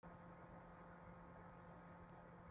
Ein af mörgum nýstárlegum kenningum